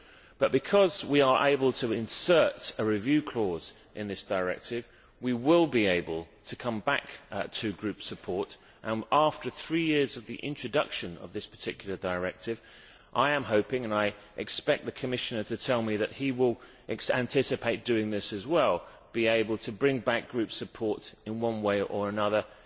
but because we are able to insert a review clause in this directive, we will be able to come back to group support and, three years after the introduction of this particular directive, I am hoping and I expect the Commissioner to tell me that he will anticipate doing this as well to be able to bring back group support in one way or another,